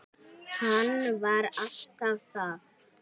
Hann var alltaf að.